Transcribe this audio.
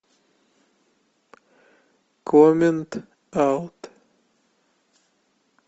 коммент аут